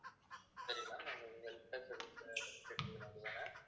சரி ma'am